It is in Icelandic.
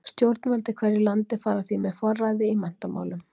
Stjórnvöld í hverju landi fara því með forræði í menntamálum.